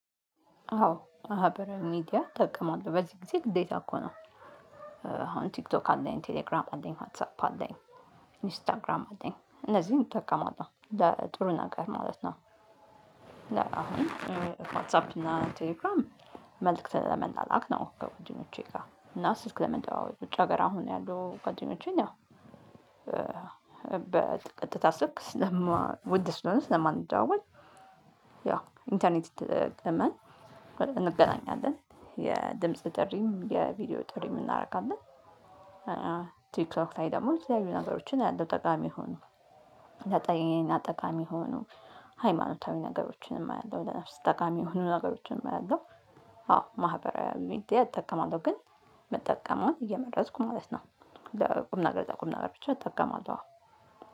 አዎ ማህበራዊ ሚዲያ እጠቀማለሁ በዚህ ጊዜ ግዴታ እኮ ነው። አሁን ቲክቶክ አለኝ ቴሌግራም አለኝ ዋትሳኘ አለኝ ኢንስታግራም አለኝ እነዚህን እጠቀማለሁ ለጥሩ ነገር ማለት ነው። አሁን ዋትሳፕ እና ቴሌክራም መልእክት ለመላላክ ነው ከወንድሞቸ ጋር እና ስልክ ለመደዋወል ውጭ ሀገር አሁን ያሉ ጓደኞቸን ያው በቀጥታ ስልክ ውድ ስለሆነ ስለማንደዋወል ያው ኢንተርኔት ተጠቅመን እንገናኛለን የድምጽ ጥሪም የቪዲዮ ጥሪም እናደርጋለን። ቲክቶክ ላይ ደግሞ የተለየዩ ነገሮችን አያለው ጠቃሚ የሆኑ ሃይማኖታዊ ነገሮችንም አያለው ለነፍስ ጠቃሚ የሆኑ ነገሮችንም አያለው። አዎ ማህበራዊ ሚዲያ እጠቀማለሁ ግን የምጠቀመውን እየመረጥኩ ማለት ነው። ቁም ነገር ለቁም ነገር ብቻ እጠቀማለሁ።